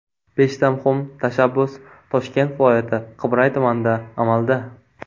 Beshta muhim tashabbus Toshkent viloyati Qibray tumanida amalda.